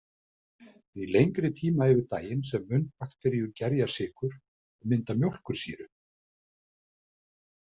Því lengri tíma yfir daginn sem munnbakteríur gerja sykur og mynda mjólkursýru.